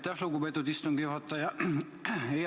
Aitäh, lugupeetud istungi juhataja!